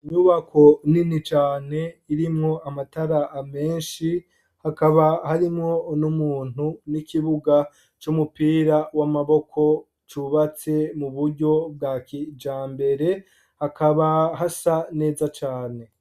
Imyubako nini cane irimwo amataraa menshi hakaba harimwo ni'umuntu n'ikibuga c'umupira w'amaboko cubatse mu buryo bwa kija mbere hakaba hasa neza cane.